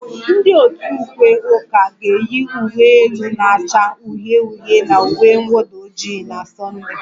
Ndị otu ukwe ụka ga-eyi uwe elu na-acha uhie uhie na uwe mwụda ojii na